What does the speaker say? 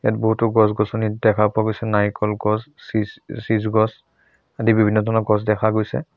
বহুতো গছ গছনি দেখা পোৱা গৈছে নাৰিকল গছ চিছ চিজ গছ আদি বিভিন্ন ধৰণৰ গছ দেখা গৈছে।